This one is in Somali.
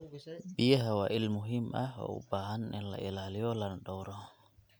Biyaha waa il muhiim ah oo u baahan in la ilaaliyo lana dhowro.